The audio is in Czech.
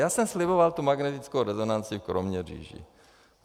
Já jsem sliboval tu magnetickou rezonanci v Kroměříži.